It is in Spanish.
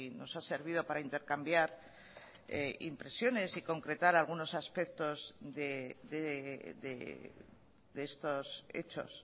nos ha servido para intercambiar impresiones y concretar algunos aspectos de estos hechos